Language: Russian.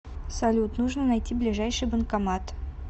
салют нужно найти ближайший банкомат